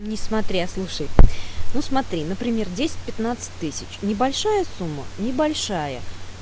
несмотря слушай ну смотри например десять пятнадцать тысяч небольшая сумма небольшая